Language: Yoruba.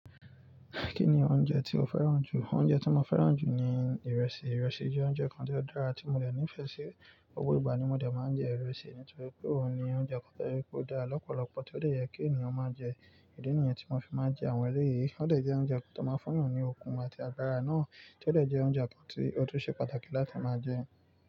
Kí ni oúnjẹ tí o fẹ́ràn jù? Oúnjẹ tí mo fẹ́ràn jù ni ìrẹsì. Ìrẹsì jẹ́ oúnjẹ kan tó dára tí mo dè nífẹ̀ẹ́ sí. Gbogbo ìgbà ni mo dẹ̀ máa ń jẹ ìrẹsì nítorí pé òun ni oúnjẹ kan tó rí pé ó dá lọ́pọ̀lọpọ̀, tí ó dè yẹ kí ènìyàn máa jẹ. Idi nìyen tí mo fi máa ń jẹ àwọn eléyìí, ó dẹ̀ jẹ́ oúnjẹ kan tí a máa ń fún ni okùn àti àgbárá náà, tí ó dẹ̀ jẹ́ oúnjẹ kan tí ó tún ṣe pàtàkì láti máa jẹ.